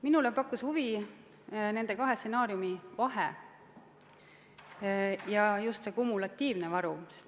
Minule pakkus huvi nende kahe stsenaariumi vahe ja just see kumulatiivne varu.